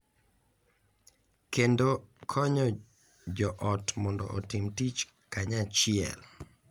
Kendo konyo jo ot mondo otim tich kanyachiel .